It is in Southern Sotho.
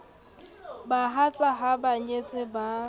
bahatsa ha ba nyetse ba